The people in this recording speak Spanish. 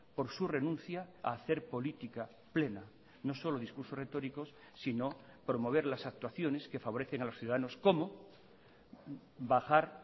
por su renuncia a hacer política plena no solo discursos retóricos sino promover las actuaciones que favorecen a los ciudadanos como bajar